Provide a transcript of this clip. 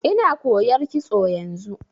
Ina koyar kitso yanzu.